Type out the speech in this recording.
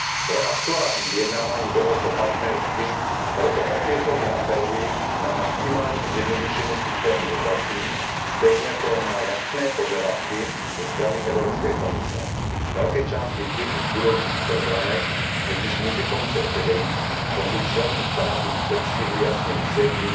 Pro aktuální vyjednávání dohod o partnerství proto opětovně apeluji na maximální zjednodušení systému dotací stejně jako na jasné požadavky ze strany Evropské komise. Velké části chyb v budoucích programech totiž může Komise předejít, pokud státům v předstihu jasně vysvětlí,